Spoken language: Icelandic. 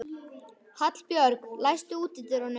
Hallbjörg, læstu útidyrunum.